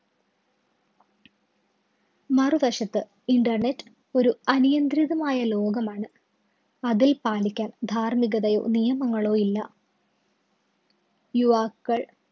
മറുവശത്ത് internet ഒരു അനിയന്ത്രിതമായ ലോകമാണ്. അതില്‍ പാലിക്കാന്‍ ധാര്‍മ്മികതയോ നിയമങ്ങളോ ഇല്ല. യുവാക്കള്‍